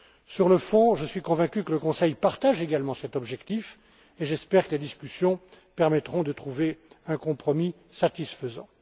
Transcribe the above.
ce point. Sur le fond, je suis convaincu que le Conseil partage également cet objectif et j'espère que les discussions permettront de trouver un compromis satisfaisant.